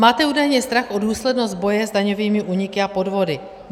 Máte údajně strach o důslednost boje s daňovými úniky a podvody.